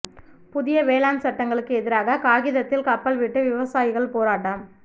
புதிய வேளாண் சட்டங்களுக்கு எதிராக காகிதத்தில் கப்பல் விட்டு விவசாயிகள் போராட்டம்